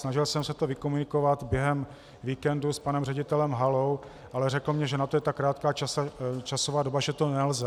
Snažil jsem se to vykomunikovat během víkendu s panem ředitelem Halou, ale řekl mi, že na to je tak krátká časová doba, že to nelze.